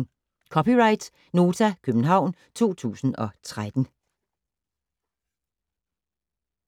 (c) Nota, København 2013